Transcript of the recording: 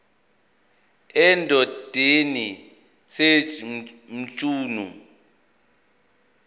endodeni sj mchunu